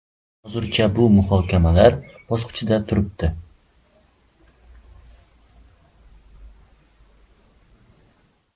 Hozircha bu muhokamalar bosqichida turibdi.